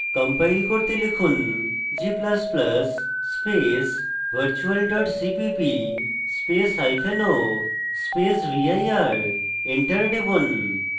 compile করতে লিখুন g ++ space virtual dot cpp spaceo space vir enter টিপুন